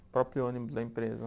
O próprio ônibus da empresa.